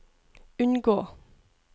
unngå